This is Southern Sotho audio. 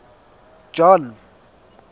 john